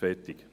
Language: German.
Fertig